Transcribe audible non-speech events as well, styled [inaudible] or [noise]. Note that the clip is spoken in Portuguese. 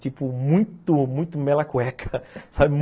Tipo, muito, muito mela a cueca, sabe? [laughs]